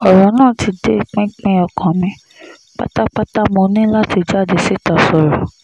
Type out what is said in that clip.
ọ̀rọ̀ náà ti dé pinpin ọkàn mi pátápátámọ́ ní láti jáde síta sọ̀rọ̀